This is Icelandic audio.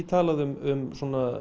talað um